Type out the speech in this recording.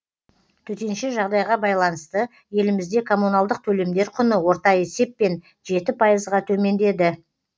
төтенше жағдайға байланысты елімізде коммуналдық төлемдер құны орта есеппен жеті пайызға төмендеді